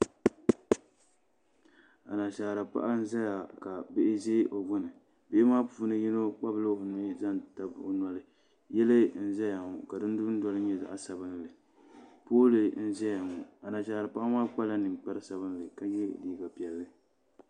Anashaara paɣa n ʒɛya ka bihi ʒɛ o gbuni bihi maa puuni yino kpabila o nuhi zaŋ tabi o noli yili n ʒɛya ŋɔ ka di dundoli nyɛ zaɣ sabinli pool n ʒɛya ŋɔ Anashaara paɣa maa kpala ninkpari sabinli ka yɛ liiga piɛlli